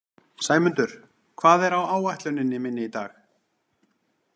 Sæmundur, hvað er á áætluninni minni í dag?